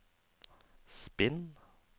spinn